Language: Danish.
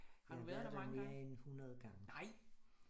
Jeg har været der mere end 100 gange